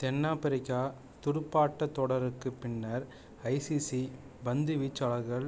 தென்னாப்பிரிக்கத் துடுப்பாட்டத் தொடருக்குப் பின்னர் ஐசிசி பாந்துவீச்சாளர்கள்